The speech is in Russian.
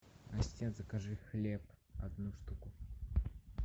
ассистент закажи хлеб одну штуку